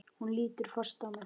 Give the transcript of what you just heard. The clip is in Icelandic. Hún lítur fast á mig.